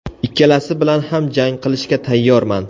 Ikkalasi bilan ham jang qilishga tayyorman.